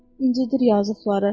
İncidir yazıqları.